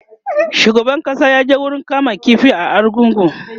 shugaban ƙasa ya je wurin kama ƙifi na argungu